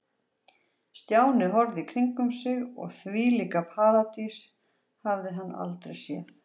Stjáni horfði í kringum sig og þvílíka paradís hafði hann aldrei séð.